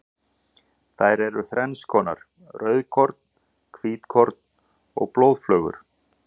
Þær eru þrennskonar, rauðkorn, hvítkorn og blóðflögur.